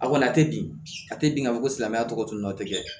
A kɔni a tɛ bin a tɛ bin k'a fɔ ko silamɛya tɔgɔ tun y'o tɛ kɛ